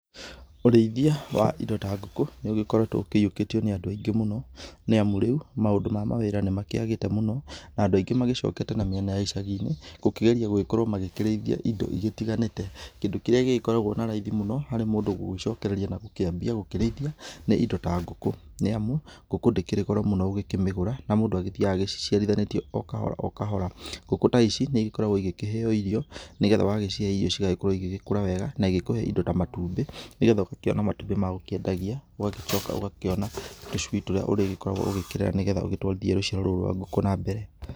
Ũrĩithia wa indo ta ngũkũ nĩũgĩkoretwo ũkĩiyũkĩtio ni andũ aingĩ mũno, nĩamu rĩu maũndũ ma mawĩra nĩmakĩagĩte mũno, na andũ aingĩ magĩcokete na mĩena ya icagi-inĩ gũkĩgeria gũgĩkorwo magĩkĩrĩithia indo igĩtiganĩte. Kĩndũ kĩrĩa gĩgĩkoragwo na raithi mũno harĩ mũndũ gũgĩcokereria na gũkĩambia gũkĩrĩithia nĩ indo ta ngũkũ, nĩ amu ngũkũ ndĩkĩrĩ goro mũno gũkĩmĩgũra, na mũndũ agĩthiaga agĩciciarithanĩtie o kahora o kahora. Ngũkũ ta ici nĩ igĩkoragwo igĩkĩheo irio, nĩ getha ũgagĩcihe irio cigagĩkorwo igĩkũra wega, na igĩkũhe indo ta matumbĩ, nĩ getha ũgakĩona matumbi ma gũkĩendagia, ũgagĩcoka ũgakĩona tũcui tũrĩa ũrĩgĩkoragwo ũgĩkĩrera nĩ getha ũgĩtwarithie rũciaro rũu rwa ngũkũ na mbere.